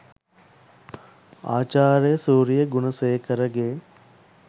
ආචාර්ය සූරිය ගුණසේකරගේ